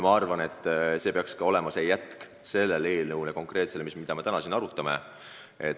Ma arvan, et sellekohane samm peaks olema jätk eelnõule, mida me täna siin arutame.